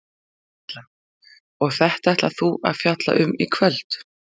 Erla: Og þetta ætlar þú að fjalla um í kvöld?